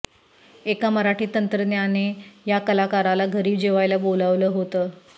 एका मराठी तंत्रज्ञाने या कलाकाराला घरी जेवायला बोलावलं होतं